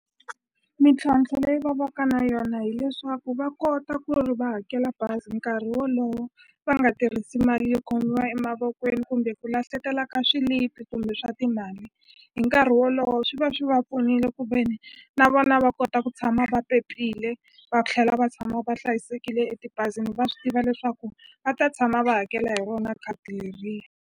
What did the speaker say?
Mintlhontlho leyi va vaka na yona hileswaku va kota ku ri va hakela bazi nkarhi wolowo va nga tirhisi mali yo khomiwa emavokweni kumbe ku lahlekela ka swilipi kumbe swa timali hi nkarhi wolowo swi va swi va pfunile ku veni na vona va kota ku tshama va pepile va tlhela va tshama va hlayisekile etibazini va swi tiva leswaku va ta tshama va hakela hi rona khadi leriya.